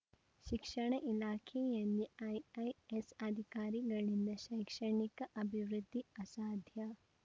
ಶಿಕ್ಷಣ ಇಲಾಖೆಯಲ್ಲಿ ಐಐಎಸ್‌ ಅಧಿಕಾರಿಗಳಿಂದ ಶೈಕ್ಷಣಿಕ ಅಭಿವೃದ್ಧಿ ಅಸಾಧ್ಯ